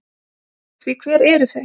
Því hver eru þau?